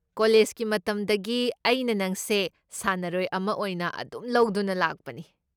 ꯀꯣꯂꯦꯖꯀꯤ ꯃꯇꯝꯗꯒꯤ ꯑꯩꯅ ꯅꯪꯁꯦ ꯁꯥꯟꯅꯔꯣꯏ ꯑꯃ ꯑꯣꯏꯅ ꯑꯗꯨꯝ ꯂꯧꯗꯨꯅ ꯂꯥꯛꯄꯅꯤ꯫